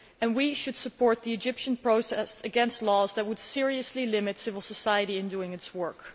We should support the Egyptian protest against laws that would seriously limit civil society in doing its work.